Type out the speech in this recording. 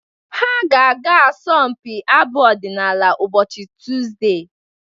Ha ga-aga asọmpi abụ ọdịnala ụbọchị Tuzdee.